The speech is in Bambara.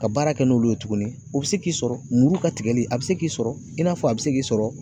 Ka baara kɛ n'olu ye tuguni ,o be se k'i sɔrɔ ,muruw ka tigɛli a be se k'i sɔrɔ i n'a fɔ a bɛ se k'i sɔrɔ